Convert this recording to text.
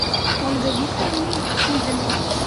ольга викторовна хузина